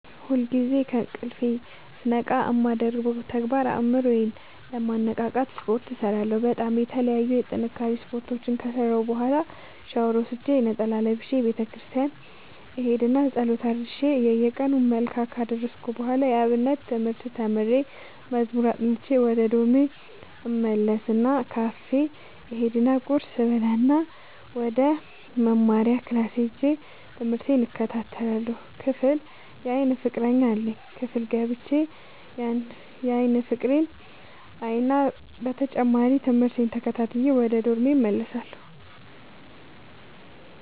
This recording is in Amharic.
ሁልጊዜ ከእንቅልፎ ስነቃ የማደርገው ተግባር አእምሮ ዬን ለማነቃቃት ስፓርት እሰራለሁ በጣም የተለያዩ የጥንካሬ ስፓርቶችን ከሰራሁ በኋላ ሻውር ወስጄ ነጠላ ለብሼ ቤተክርስቲያን እሄድ እና ፀሎት አድርሼ የየቀኑን መልክአ ካደረስኩ በኋላ የአብነት ትምህርት ተምሬ መዝሙር አጥንቼ ወደ ዶርሜ እመለስ እና ካፌ እሄድ እና ቁርስ እበላእና ወደመማሪያክላስ ሄጄ ትምህቴን እከታተላለሁ። ክፍል የአይን ፍቀረኛ አለኝ ክፍል ገብቼ ያን ፍቅሬን አይና በተጨማሪም ትምህርቴን ተከታትዬ ወደ ዶርሜ እመለሳለሁ።